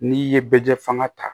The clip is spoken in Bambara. N'i ye bɛjɛ fanga ta